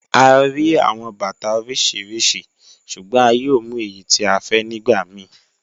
À ríí awọn bàtà oríṣiríṣí ṣùgbọ̀n à yóò mú èyí tí à fẹ́ nígbà míì.